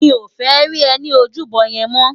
Mi ó fè ri è ni ójúbò yèn mò